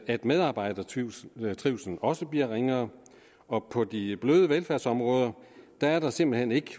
at medarbejdernes trivsel også bliver ringere og på de bløde velfærdsområder er der simpelt hen ikke